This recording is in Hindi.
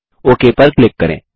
ओक पर क्लिक करें